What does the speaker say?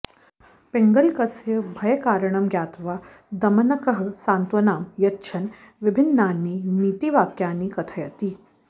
पिङ्गलकस्य भयकारणं ज्ञात्वा दमनकः सान्त्वनां यच्छन् विभिन्नानि नीतिवाक्यानि कथयति